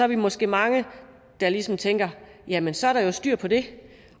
vi måske mange der ligesom tænker at jamen så er der jo styr på det